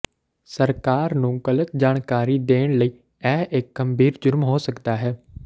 ਸਰਕਾਰ ਨੂੰ ਗਲਤ ਜਾਣਕਾਰੀ ਦੇਣ ਲਈ ਇਹ ਇੱਕ ਗੰਭੀਰ ਜੁਰਮ ਹੋ ਸਕਦਾ ਹੈ